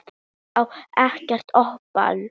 Ég á ekkert ópal